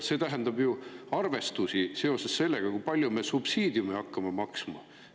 See tähendab ju arvestusi seoses sellega, kui palju me subsiidiume hakkame maksma.